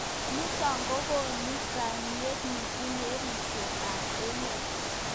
Nitok kokonu kaimet mising eng ribset ab emet.